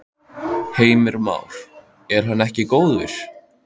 Heimir Már: Er hann ekki góður?